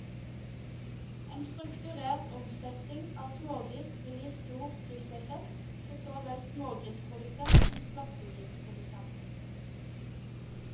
En strukturert omsetning av smågris vil gi stor plusseffekt for så vel smågrisprodusent som slaktegrisprodusent.